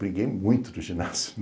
Briguei muito no ginásio.